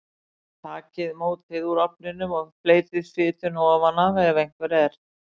Takið mótið úr ofninum og fleytið fituna ofan af ef einhver er.